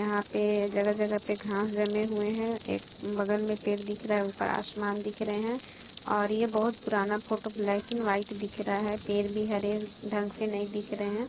यहां पर जगह-जगह पर घास जमे हुए हैं एक बगल में पेड़ दिख रहा है ऊपर आसमान दिख रहे हैं और ये बहुत पुराना फोटो ब्लैक एंड व्हाइट दिख रहा है पेड़ भी हरे ढंग से नहीं दिख रहे हैं।